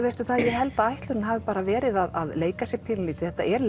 ég held að ætlunin hafi verið að leika sér pínulítið þetta er